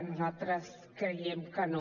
nosaltres creiem que no